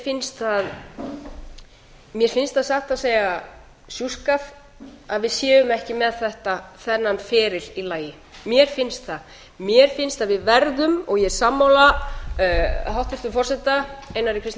finnst það satt að segja sjúskað að við séum ekki með þennan feril í lagi mér finnst það mér finnst að við verðum og ég er sammála hæstvirtum forseta einari kristni